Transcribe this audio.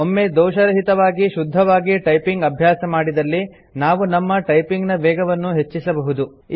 ಒಮ್ಮೆ ದೋಷರಹಿತವಾಗಿ ಶುದ್ಧವಾಗಿ ಟೈಪಿಂಗ್ ಅಭ್ಯಾಸ ಮಾಡಿದಲ್ಲಿ ನಾವು ನಮ್ಮ ಟೈಪಿಂಗ್ ನ ವೇಗವನ್ನು ಹೆಚ್ಚಿಸಬಹುದು